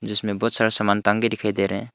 इसमें बहुत सारे समान टांगे दिखाई दे रहे हैं।